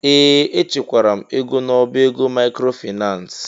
Ee! Echekwara m ego n'ọbá ego maịkrofaịnans.